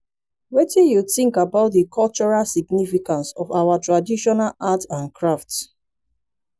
wetin you think about di cultural significance of our traditional art and craft?